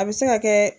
A bɛ se ka kɛ